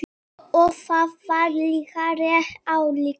Og það var líka rétt ályktað.